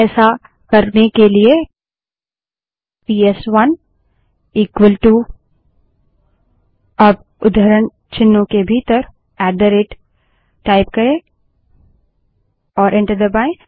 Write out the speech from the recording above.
ऐसा करने के लिए पीएसवनबड़े अक्षर में इक्वल -टू अब उद्धरण चिन्हों के भीतर ऐट द रेट टाइप करें और एंटर दबायें